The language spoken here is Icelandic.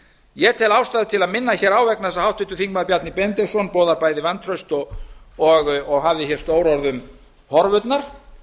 ég tel ástæðu til að minna hér á vegna en að háttvirtur þingmaður bjarni benediktsson boðar bæði vantraust og hafði hér stór orð um horfurnar